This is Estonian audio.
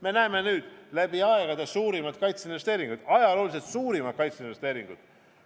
Me näeme nüüd läbi aegade suurimaid kaitseinvesteeringuid.